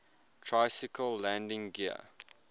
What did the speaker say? tricycle landing gear